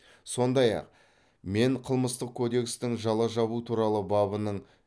содай ақ мен қылмыстық кодекстің жала жабу туралы бабының